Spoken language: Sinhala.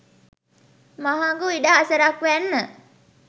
මහඟු ඉඩහසරක් වැන්න.